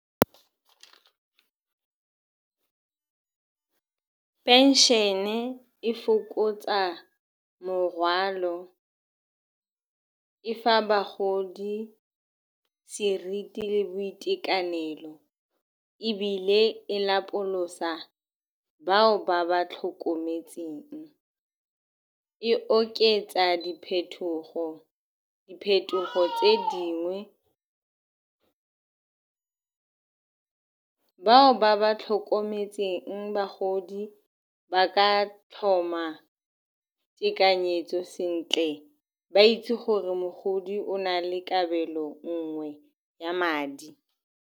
Phenšene e fokotsa morwalo, e fa bagodi seriti le boitekanelo, ebile e lapolosa bao ba ba tlhokometseng. E oketsa diphetogo, diphetogo tse dingwe bao ba ba tlhokometseng bagodi ba ka tlhoma tekanyetso sentle, ba itse gore mogodi o na le kabelo nngwe ya madi.